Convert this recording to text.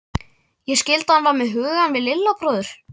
Ég skildi að hann var með hugann við Lilla bróður.